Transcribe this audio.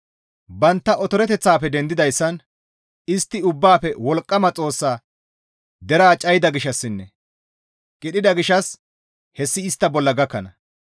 Bantta otoroteththafe dendidayssan istti Ubbaafe Wolqqama Xoossa deraa cayida gishshassinne qidhida gishshas hessi istta bolla gakkana.